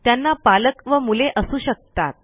त्यांना पालक व मुले असू शकतात